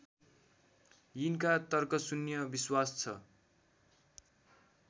यिनमा तर्कशून्य विश्वास छ